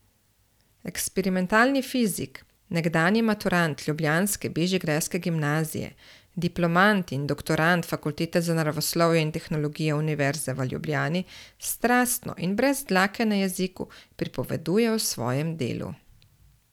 Eksperimentalni fizik, nekdanji maturant ljubljanske bežigrajske gimnazije, diplomant in doktorand Fakultete za naravoslovje in tehnologijo Univerze v Ljubljani strastno in brez dlake na jeziku pripoveduje o svojem delu.